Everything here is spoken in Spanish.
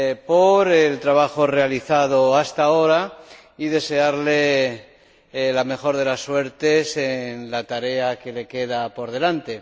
por el trabajo realizado hasta ahora y desearle la mejor de las suertes en la tarea que le queda por delante.